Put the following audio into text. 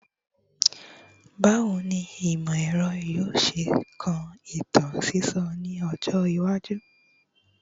Bawo ni imọ-ẹrọ yoo ṣe kan itan sisọ ni ọjọ iwaju?